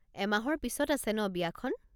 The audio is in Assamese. এমাহৰ পিছত আছে ন বিয়াখন ?